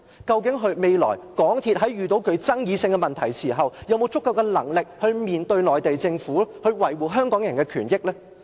究竟未來港鐵公司遇到具爭議性的問題時，是否有足夠能力去面對內地政府，維護香港人的權益呢？